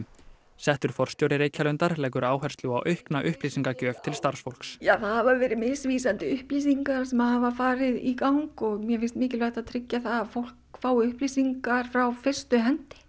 settur forstjóri Reykjalundar leggur áherslu á aukna upplýsingagjöf til starfsfólks það hafa verið misvísandi upplýsingar sem hafa farið í gang og mér finnst mikilvægt að að fólk fái upplýsingar frá fyrstu hendi